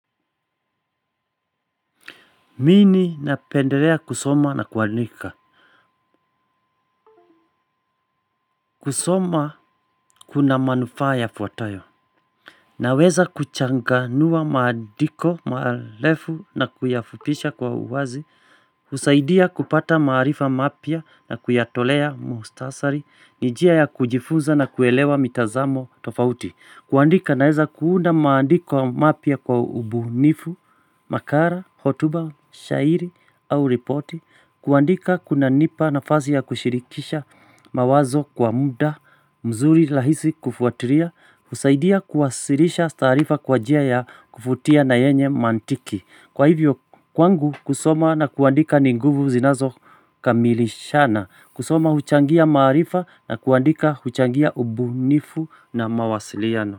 Mimi napendelea kusoma na kuadika. Kusoma, kuna manufaa yafuatayo. Naweza kuchanganua maandiko marefu na kuyafupisha kwa uwazi, husaidia kupata maarifa mapya na kuyatolea muktasari. Ni njia ya kujifunza na kuelewa mitazamo tofauti. Kuandika, naweza kuunda maandiko mapya kwa ubunifu, makala, hotuba, shairi au ripoti. Kuandika kunanipa nafasi ya kushirikisha mawazo kwa muda mzuri, rahisi kufuatilia, husaidia kuwasilisha taarifa kwa njia ya kuvutia na yenye mantiki. Kwa hivyo, kwangu kusoma na kuandika ni nguvu zinazo, kamilishana, kusoma huchangia maarifa na kuandika huchangia ubunifu na mawasiliano.